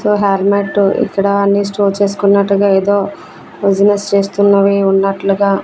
so హార్మాట్టు ఇక్కడ అన్ని స్టోర్ చేసుకున్నట్టుగా ఎదో బిజినెస్ చేస్తున్నవి ఉన్నట్లుగా--